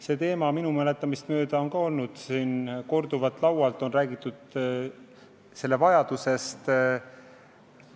See teema on minu mäletamist mööda olnud ka siin korduvalt laual, sellest vajadusest on räägitud.